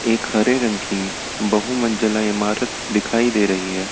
एक हरे रंग की बहू मंजिला इमारत दिखाई दे रही है।